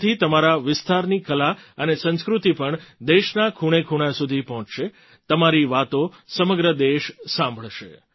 તેનાથી તમારા વિસ્તારની કલા અને સંસ્કૃતિ પણ દેશના ખૂણેખૂણા સુધી પહોંચશે તમારી વાતો સમગ્ર દેશ સાંભળશે